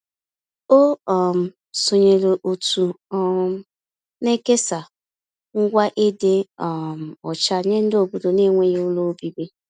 O um sonyeere òtù um na-ekesa ngwa ịdị um ọcha nye ndị obodo n'enweghị ụlọ obibi.